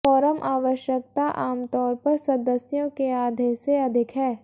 quorum आवश्यकता आमतौर पर सदस्यों के आधे से अधिक है